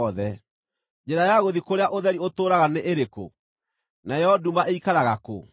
“Njĩra ya gũthiĩ kũrĩa ũtheri ũtũũraga nĩĩrĩkũ? Nayo nduma ĩikaraga kũ?